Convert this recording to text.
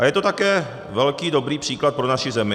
A je to také velký dobrý příklad pro naši zemi.